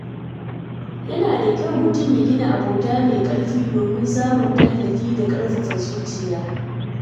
Yana da kyau mutum ya gina abota mai ƙarfi domin samun tallafi da ƙarfafa zuciya.